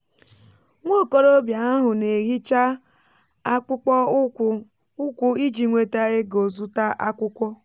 nwa okorobịa ahụ n'èhichá akpụkpọ ụkwụ ụkwụ iji nweta ego zụta akwụkwọ.